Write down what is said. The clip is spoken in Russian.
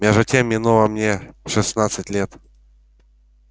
между тем минуло мне шестнадцать лет